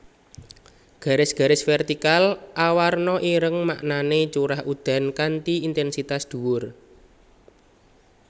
Garis garis vertikal awarna ireng maknané curah udan kanthi intènsitas dhuwur